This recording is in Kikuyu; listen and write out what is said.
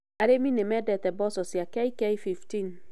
Arĩmi nĩ mendete mboco cia KK15.